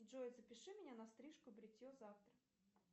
джой запиши меня на стрижку бритье завтра